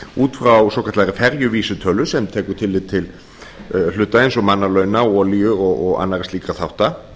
út frá svokallaðri ferjuvísitölu sem tekur tillit til hluta eins og launa olíu og annarra slíkra þátta